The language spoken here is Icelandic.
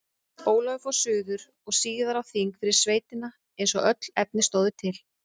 Ólafur fór suður og síðar á þing fyrir sveitina eins og öll efni stóðu til.